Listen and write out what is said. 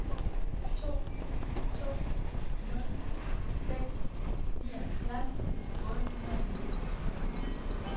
to to nul seks nioghalvfjerds otte hundrede og nitten